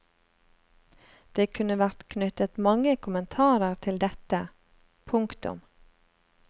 Det kunne vært knyttet mange kommentarer til dette. punktum